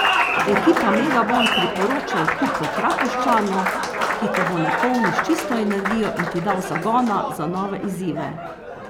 Ekipa Megabon priporoča odklop v Trakošćanu, ki te bo napolnil s čisto energijo in ti dal zagona za nove izzive.